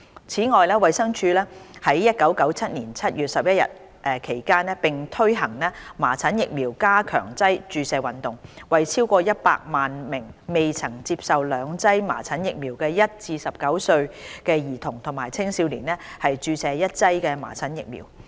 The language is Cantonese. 此外，衞生署於1997年7月至11月期間並推行"麻疹疫苗加強劑注射運動"，為超過100萬名未曾接受兩劑麻疹疫苗的1至19歲兒童和青少年注射一劑麻疹疫苗。